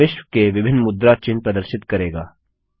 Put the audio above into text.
यह विश्व के विभिन्न मुद्रा चिन्ह प्रदर्शित करेगा